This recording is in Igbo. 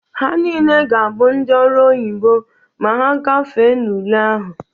Ha niile ga-abụ ndị ọrụ oyibo ma ha gafee n'ule ahụ.